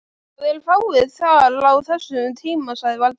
Það eru fáir þar á þessum tíma sagði Valdimar.